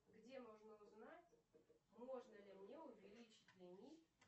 где можно узнать можно ли мне увеличить лимит